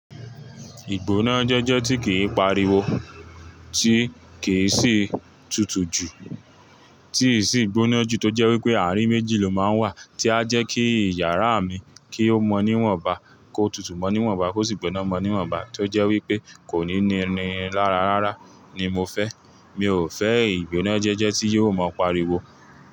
Ìgbóná jẹ́jẹ́ tí kìi pariwo, tí kìn sì tutù jù, tín sì gbóná jù tó jẹ́ wípé àárín méjì ló máa ń wà tí a jẹ́ kí iyàrá mi kí ó mọ níwọ̀nba, kó tutù mọ níwọ̀nba kó sì gbóná mọ níwọ̀nba tó jẹ́ wípé kò ní ní lára rárá ni mo fẹ́. Mi ò fẹ́ ìgbóná jẹ́jẹ́ tí yóò máa pariwo.